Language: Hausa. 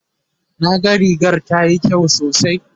na ga rigar tayi kyau sosai